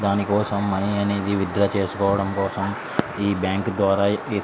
దాని కోసం మనీ అనేది విత్ డ్రా చేసుకోవడం కోసం ఈ బ్యాంకు ద్వారా